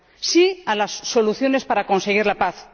¡Sí a las soluciones para conseguir la paz!